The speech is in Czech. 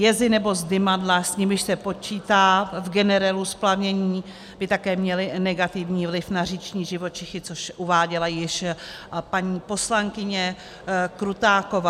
Jezy nebo zdymadla, s nimiž se počítá v generelu splavnění, by také měly negativní vliv na říční živočichy, což uváděla již paní poslankyně Krutáková.